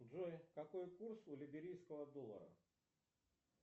джой какой курс у либерийского доллара